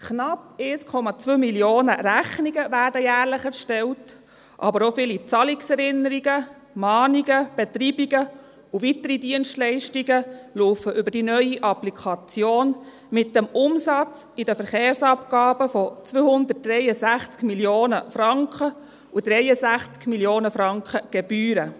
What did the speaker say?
Knapp 1,2 Mio. Rechnungen werden jährlich erstellt, aber auch viele Zahlungserinnerungen, Mahnungen, Betreibungen und weitere Dienstleistungen laufen über die neue Applikation mit dem Umsatz von 263 Mio. Franken in den Verkehrsabgaben und 63 Mio. Franken Gebühren.